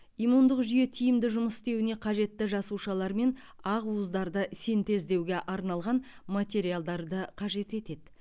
иммундық жүйе тиімді жұмыс істеуіне қажетті жасушалар мен ақуыздарды синтездеуге арналған материалдарды қажет етеді